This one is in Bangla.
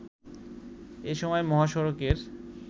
এসময় মহাসড়কের